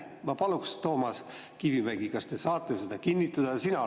Ma paluks, Toomas Kivimägi, kas te saate seda kinnitada?